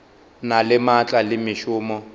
na le maatla le mešomo